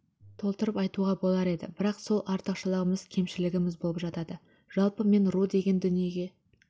толтырып айтуға болар еді бірақ сол артықшылығымыз кемшілігіміз болып жатады жалпы мен ру деген дүниеге